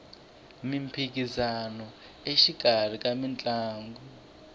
miphikisano exikarhi ka mitlangu